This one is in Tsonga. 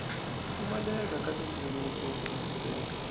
pfumaleka ka tindzimana to twisiseka